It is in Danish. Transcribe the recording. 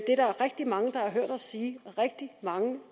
er der rigtig mange der har hørt os sige rigtig mange